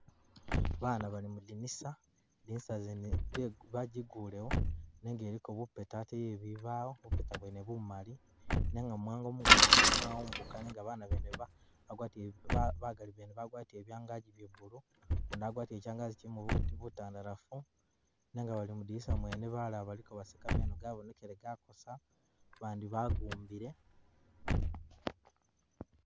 Ba bana bali mulidinisa, lidinisa lyene balikulewo nenga liliko bu pata ate bwebibawo, bu pata bwene bumali, nenga mu muwango mungagi mwawumbuka nenga ba bana bene bagali bagwatile byangagi bya blue, gundi agwatile kyangagi kyilimo butandalafu nenga bali mwidinisa mwene balala baliko baseka meno gabonekeleye gakosa ba bandi bagumbile.